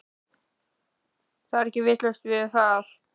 Það er ekki laust við að